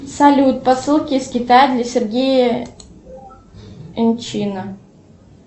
салют посылки из китая для сергея энчина